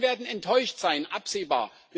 Die Menschen werden enttäuscht sein, absehbar.